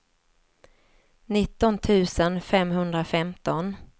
nitton tusen femhundrafemton